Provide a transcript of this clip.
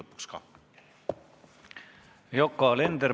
Yoko Alender, palun!